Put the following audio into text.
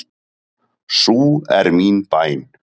Sú er mín bæn.